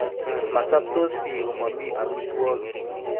Masaptos biik komomii amitwokik